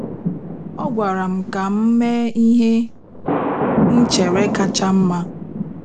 Ọ gwara m ka m mee ihe m chere kacha mma.